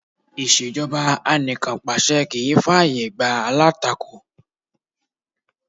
Ìṣẹ̀jọba anìkànpàṣẹ kì í fà yè gbá alátakò.